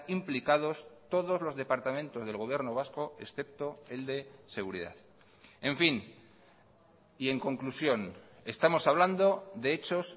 implicados todos los departamentos del gobierno vasco excepto el de seguridad en fin y en conclusión estamos hablando de hechos